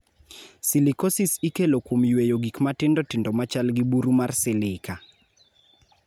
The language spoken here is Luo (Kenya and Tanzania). Silicosis ikelo kuom yweyo gik matindo tindo ma chal gi buru mar silica.